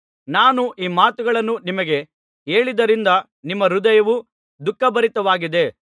ನಾನು ಈ ಮಾತುಗಳನ್ನು ನಿಮಗೆ ಹೇಳಿದ್ದರಿಂದ ನಿಮ್ಮ ಹೃದಯವು ದುಃಖಭರಿತವಾಗಿದೆ